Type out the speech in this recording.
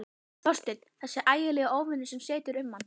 Þorstinn, þessi ægilegi óvinur sem situr um mann.